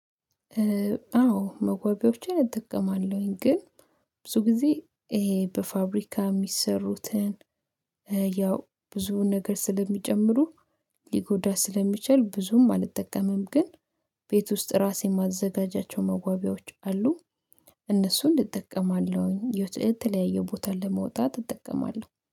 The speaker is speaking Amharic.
አዎ መዋቢያዎችን እጠቀማለሁኝ ግን ብዙ ጊዜ ይሄ በፋብሪካ የሚሰሩትን ያው ብዙ ነገር ስለሚጨምሩ ሊጎዳ ስለሚችል ብዙም አልጠቀምም። ግን ቤት ውስጥ ራሴን ማዘጋጃቸው መጓቢያዎች አሉ። እነሱን እጠቀማለሁኝ የተለያየ ቦታ ለመውጣት እጠቀማለሁ